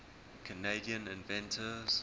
canadian inventors